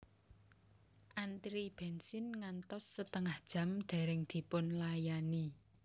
Antri bensin ngantos setengah jam dereng dipunlayani